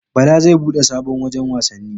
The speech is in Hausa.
Bala zai bude sabon wajan wasanni